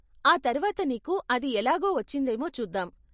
ఆ తర్వాత నీకు అది ఎలాగో వచ్చిందేమో చూద్దాం.